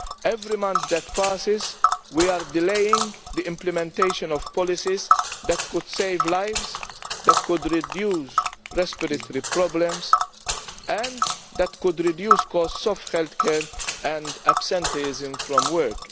Every month that passes we are delaying the implementation of policies that could save lives, that could reduce respiratory problems and that could reduce the cost of health care and absenteeism from work.